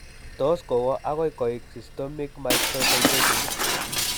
Tos kowo agoi koik systemic mastocytosis